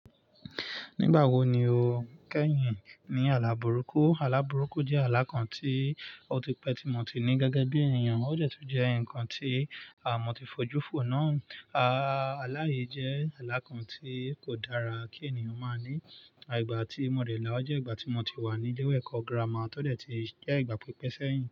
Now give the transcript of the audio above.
Nígbà wo ni o kẹ́yìn ní ala burúkú? Àlà burúkú jẹ́ àlà kan tí ó ti pẹ́ tí mo ti ní gẹ́gẹ́ bí ènìyàn. Ó jẹ́ tó jẹ́ ǹkan tí a mo ti fojú fò náà. A, ààlà yìí jẹ́ àlà kan tí kò dára kí ènìyàn máa ní. Àtigbà tí mo dè lá, ó jẹ́ ìgbà tí mo ti wà ní ilé ẹ̀kọ́ gírámà, tó dẹ̀ ti jẹ́ ìgbà pípẹ́sẹ́yìn.